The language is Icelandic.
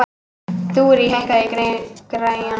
Þurí, hækkaðu í græjunum.